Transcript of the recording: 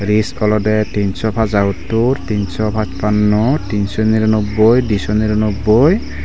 olode tinso paja huttur tinso pach panno tinso niro nobboi diso niro nobboi.